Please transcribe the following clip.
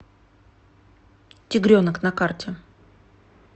тигренок на карте